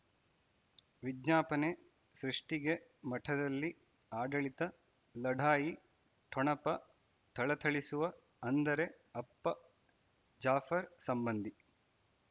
ವಿಜ್ಞಾಪನೆ ಸೃಷ್ಟಿಗೆ ಮಠದಲ್ಲಿ ಆಡಳಿತ ಲಢಾಯಿ ಠೊಣಪ ಥಳಥಳಿಸುವ ಅಂದರೆ ಅಪ್ಪ ಜಾಫರ್ ಸಂಬಂಧಿ